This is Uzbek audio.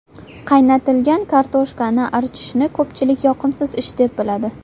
Qaynatilgan kartoshkani archishni ko‘pchilik yoqimsiz ish deb biladi.